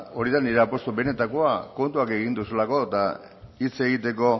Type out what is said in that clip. hori da nire apustua benetakoa kontuak egin duzulako eta hitz egiteko